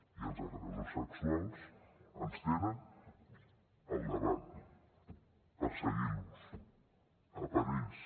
i els agressors sexuals ens tenen al davant perseguint los a per ells